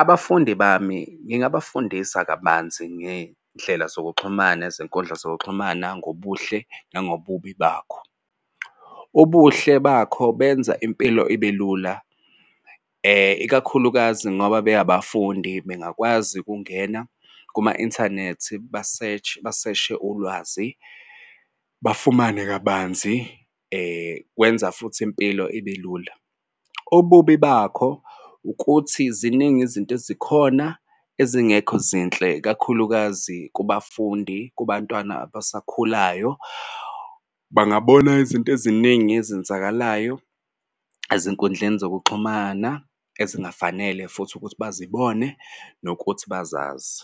Abafundi bami ngingabafundisa kabanzi ngey'ndlela zokuxhumana nezinkundla zokuxhumana ngobuhle nangobubi bakho. Ubuhle bakho benza impilo ibe lula ikakhulukazi ngoba be abafundi bengakwazi ukungena kuma-inthanethi ba-search baseshe ulwazi bafumane kabanzi kwenza futhi impilo ibelula. Ububi bakho ukuthi ziningi izinto ezikhona ezingekho zinhle kakhulukazi kubafundi kubantwana abasakhulayo bangabona izinto eziningi ezenzakalayo ezinkundleni zokuxhumana ezingafanele futhi ukuthi bazibone nokuthi bazazi.